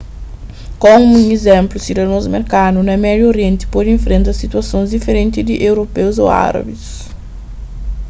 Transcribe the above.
komu un izénplu sidadons merkanu na médiu orienti pode infrenta situasons diferenti di europeus ô árabis